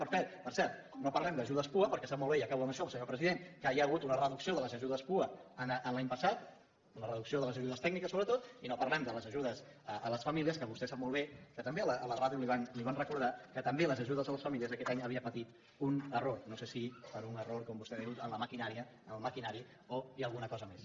per cert no parlem d’ajudes pua perquè sap molt bé i acabo amb això senyor president que hi ha hagut una reducció de les ajudes pua l’any passat amb la reducció de les ajudes tècniques sobretot i no parlem de les ajudes a les famílies que vostè sap molt bé que també a la ràdio li ho van recordar que també les ajudes a les famílies aquest any havien patit un error no sé si per un error com vostè diu en la maquinària en el maquinari o hi ha alguna cosa més